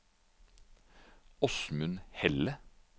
Åsmund Helle